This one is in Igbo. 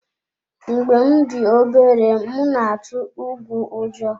Mgbe m dị obere, m na-atụ ùgwù ụjọ.